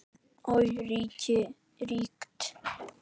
Og ríkt.